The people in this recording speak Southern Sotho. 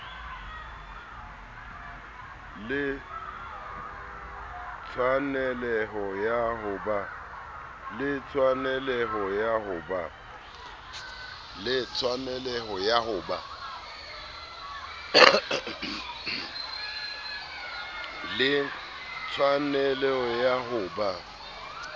le tshwaneleho ya ho ba